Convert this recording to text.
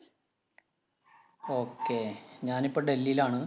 okay ഞാനിപ്പോ ഡൽഹിയിലാണ്.